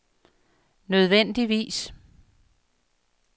nødvendigvis